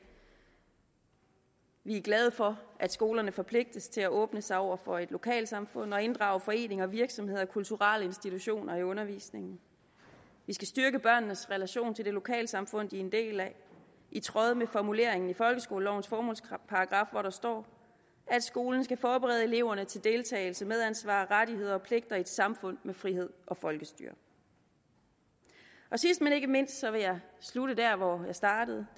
vi er glade for at skolerne forpligtes til at åbne sig over for et lokalsamfund og inddrage foreninger virksomheder og kulturelle institutioner i undervisningen vi skal styrke børnenes relation til det lokalsamfund de er en del af i tråd med formuleringen i folkeskolelovens formålsparagraf hvor der står at skolen skal forberede eleverne til deltagelse medansvar rettigheder og pligter i et samfund med frihed og folkestyre sidst men ikke mindst vil jeg slutte der hvor jeg startede